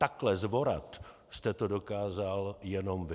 Takhle zvorat jste to dokázal jenom vy.